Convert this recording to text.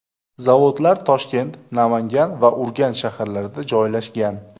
Zavodlar Toshkent, Namangan va Urganch shaharlarida joylashgan.